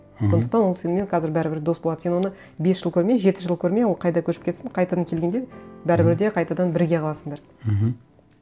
мхм сондықтан ол сенімен қазір бәрібір дос болады сен оны бес жыл көрме жеті жыл көрме ол қайда көшіп кетсін қайтадан келгенде бәрібір де қайтадан бірге қаласыңдар мхм